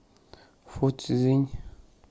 фуцзинь